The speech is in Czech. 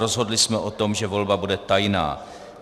Rozhodli jsme o tom, že volba bude tajná.